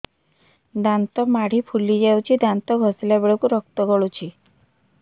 ଦାନ୍ତ ମାଢ଼ୀ ଫୁଲି ଯାଉଛି ଦାନ୍ତ ଘଷିଲା ବେଳକୁ ରକ୍ତ ଗଳୁଛି